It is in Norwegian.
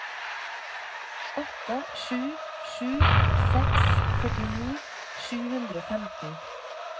åtte sju sju seks førtini sju hundre og femten